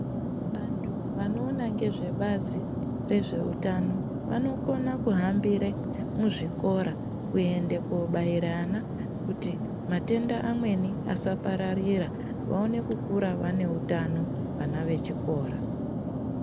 Vantu vanoona ngezvebazi rezveutano vanokona kuhambire muzvikora kuende kobaire vana kuti matenda amweni asapararira vaone kukura vane utano vana vechikora.